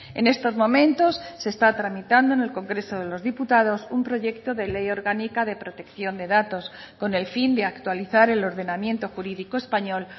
en estos momentos se está tramitando en el congreso de los diputados un proyecto de ley orgánica de protección de datos con el fin de actualizar el ordenamiento jurídico español